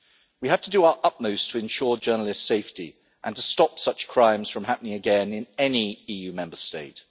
We have to do our utmost to ensure journalists' safety and to stop such crimes from happening again in any EU Member State.